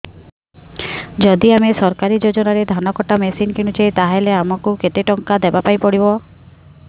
ଯଦି ଆମେ ସରକାରୀ ଯୋଜନାରେ ଧାନ କଟା ମେସିନ୍ କିଣୁଛେ ତାହାଲେ ଆମକୁ କେତେ ଟଙ୍କା ଦବାପାଇଁ ପଡିବ